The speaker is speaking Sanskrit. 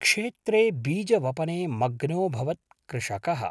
क्षेत्रे बीजवपने मग्नोऽभवत् कृषकः।